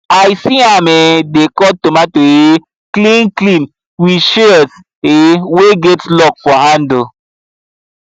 i see am um dey cut tomato um clean clean with shears um wey get lock for handle